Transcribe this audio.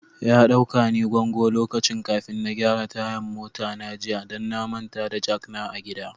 Ya dauka ni gongo lokaci kafin na gyara tayan mota na jiya, dan na manta da jak na a gida.